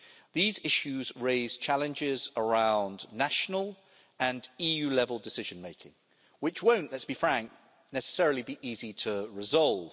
These issues raise challenges around national and EU-level decision-making, which won't let's be frank necessarily be easy to resolve.